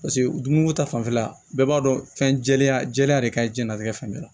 Paseke dumuni ko ta fanfɛla bɛɛ b'a dɔn fɛn jɛlenya jɛlenya de ka ɲi jɛnlatigɛ fɛn bɛɛ la